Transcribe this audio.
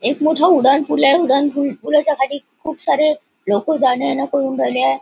एक मोठ उडाण पुल आहे उडाण पुल पुला च्या खाली खुप सारे लोक जाण येण करून राहीले आहे.